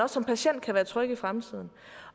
som patient kan være tryg i fremtiden